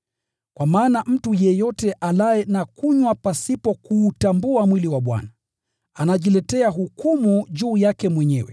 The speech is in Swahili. Kwa maana mtu yeyote alaye na kunywa pasipo kuutambua mwili wa Bwana, hula na kunywa hukumu juu yake mwenyewe.